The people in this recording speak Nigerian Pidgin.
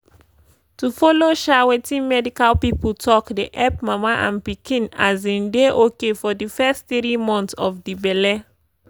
to follow um wetin medical pipo talk dey epp mama and pikin um dey ok for di fess tiri monts of di belle.